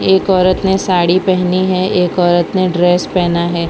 एक औरत ने साड़ी पेहनी है एक औरत ने ड्रेस पहना है।